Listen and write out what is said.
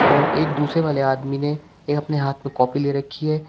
और एक दूसरे वाले आदमी ने एक अपने हाथ में कॉपी ले रखी है।